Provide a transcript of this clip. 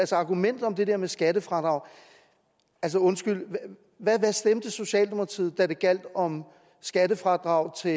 til argumentet om det der med skattefradrag undskyld hvad stemte socialdemokratiet da det gjaldt om skattefradrag til